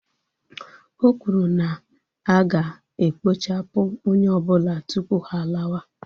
O kwuru na aga ekpochapụ onye ọbụla tupu ha alawa